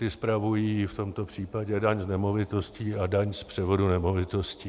Ti spravují v tomto případě daň z nemovitostí a daň z převodu nemovitostí.